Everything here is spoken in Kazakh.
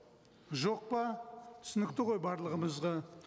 жоқ па түсінікті ғой барлығымызға